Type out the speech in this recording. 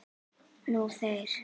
Nú þeir.